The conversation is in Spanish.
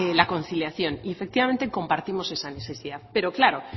la conciliación y efectivamente compartimos esa necesidad pero claro